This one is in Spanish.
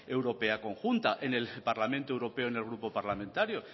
europea conjunta en el parlamento europeo en el grupo parlamentario